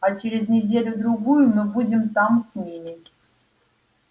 а через неделю-другую мы будем там с ними